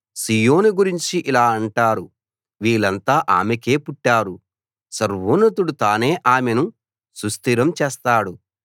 సీయోను గురించి ఇలా అంటారు వీళ్ళంతా ఆమెకే పుట్టారు సర్వోన్నతుడు తానే ఆమెను సుస్థిరం చేస్తాడు